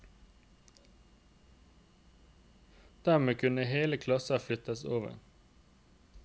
Dermed kunne hele klasser flyttes over.